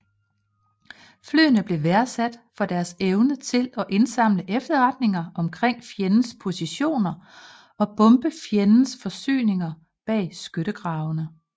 Flyene blev værdsat for deres evne til at indsamle efterretninger omkring fjendens positioner og bombe fjendens forsyninger bag skyttegravene